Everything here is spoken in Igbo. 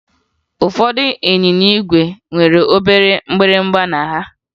Ụfọdụ ịnyịnya ígwè nwere obere mgbịrịmgba na ha